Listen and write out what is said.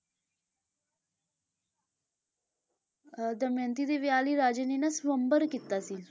ਅਹ ਦਮਿਅੰਤੀ ਦੇ ਵਿਆਹ ਲਈ ਰਾਜੇ ਨੇ ਨਾ ਸਵੰਬਰ ਕੀਤਾ ਸੀ।